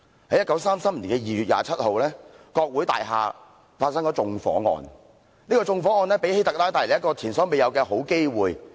在1933年2月27日，國會大廈發生縱火案，這宗縱火案為希特拉帶來前所未有的好機會。